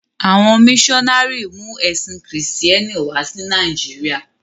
À̀wọn míṣọnárì mú ẹ̀sìn Kristẹ́ni wá sí Nàìjíríà.